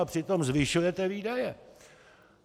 A přitom zvyšujete výdaje!